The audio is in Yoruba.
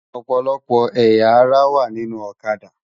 Òpòlòpò ëyá àrá wá ninú Òkâdá